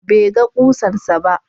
Bai ga ƙusarsa ba.